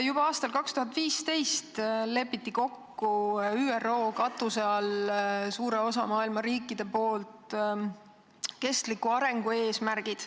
Juba aastal 2015 leppis suur osa maailma riike ÜRO katuse all kokku kestliku arengu eesmärgid.